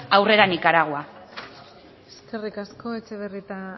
aurrera nicaragua eskerrik asko etxebarrieta